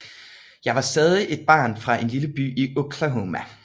Jeg var stadig et barn fra en lille by i Oklahoma